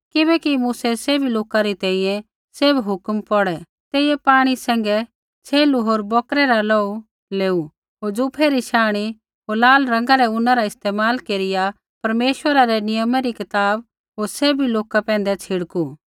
किबैकि मूसै सैभी लोका री तैंईंयैं सैभ हुक्म पौढ़ै तेइयै पाणी सैंघै छ़ेलू होर बौकरै रा लोहू लेऊ होर जूफे री शांणी होर लाल रंगा रै ऊना रा इस्तेमाल केरिया परमेश्वरा रै नियमा री कताब होर सैभी लोका पैंधै छिड़कू